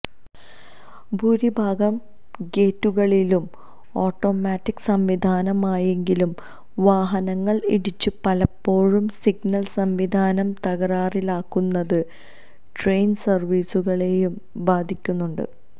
ഭൂരിഭാഗം ഗേറ്റുകളിലും ഒാട്ടോമാറ്റിക് സംവിധാനമായെങ്കിലും വാഹനങ്ങൾ ഇടിച്ചു പലപ്പോഴും സിഗ്നൽ സംവിധാനം തകരാറിലാകുന്നത് ട്രെയിൻ സർവീസുകളെയും ബാധിക്കുന്നുണ്ട്